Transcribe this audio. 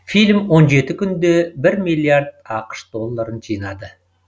фильм он жеті күнде бір миллиард ақш долларын жинады